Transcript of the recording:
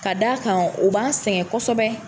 Ka da kan ,o b'an sɛgɛn kɔsɛbɛ.